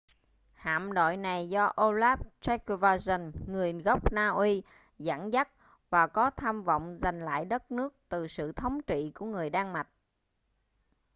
hạm đội này do olaf trygvasson người gốc na uy dẫn dắt và có tham vọng giành lại đất nước từ sự thống trị của người đan mạch